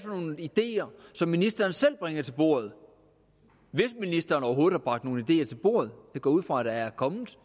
nogle ideer som ministeren selv bringer til bordet hvis ministeren overhovedet har bragt nogle ideer til bordet jeg går ud fra at der er kommet